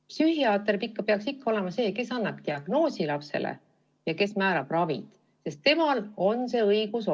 Psühhiaater peaks olema see, kes paneb lapsele diagnoosi ja määrab ravi, sest temal on see õigus.